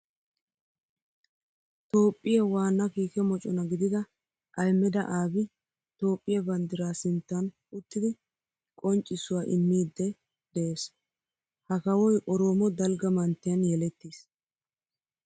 Toophphiya waana kiikke mocona gididda Ahmeda Abiy Toophphiya banddira sinttan uttiddi qonccissuwa immiidde de'ees. Ha kawoy oroomo dalgga manttiyan yelettiis.